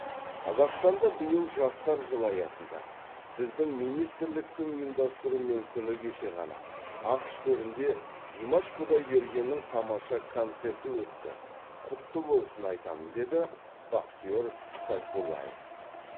қазақстанда биыл жастар жылы аясында сіздің министрліктің ұйымдастыруымен күні кеше ғана ақш төрінде димаш құдайбергеннің тамаша концерті өтті құтты болсын айтамын деді бахтиер сайфуллаев